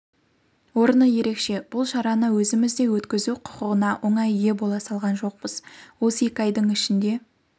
орны ерекше бұл шараны өзімізде өткізу құқығына оңай ие бола салған жоқпыз осы екі айдың ішінде